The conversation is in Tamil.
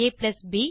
ab